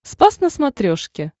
спас на смотрешке